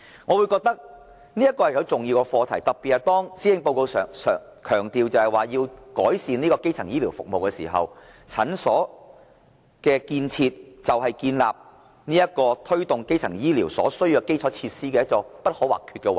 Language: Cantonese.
我認為這是重要的課題，特別是當施政報告強調要改善基層醫療服務，診所建設是推動基層醫療服務的基礎設施，是不可或缺的部分。